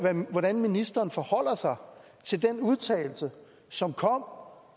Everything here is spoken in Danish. hvordan ministeren forholder sig til den udtalelse som kom